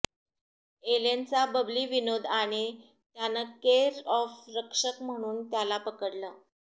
एलेनचा बबली विनोद आणि त्यानं केर ऑफ रक्षक म्हणून त्याला पकडलं